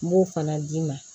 N b'o fana d'i ma